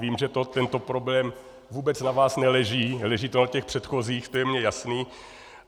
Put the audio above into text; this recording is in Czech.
Vím, že tento problém vůbec na vás neleží, leží to na těch předchozích, to je mi jasné.